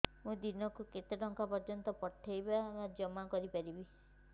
ମୁ ଦିନକୁ କେତେ ଟଙ୍କା ପର୍ଯ୍ୟନ୍ତ ପଠେଇ ବା ଜମା କରି ପାରିବି